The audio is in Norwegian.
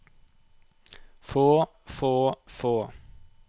få få få